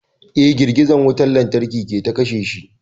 Eh girgizar wutar lantarki ce ta kashe shi